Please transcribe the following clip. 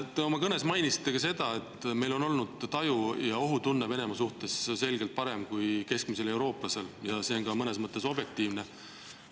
Te oma kõnes mainisite ka seda, et meil on olnud taju ja ohutunne Venemaa suhtes selgelt parem kui keskmisel eurooplasel, ja see on mõnes mõttes objektiivne.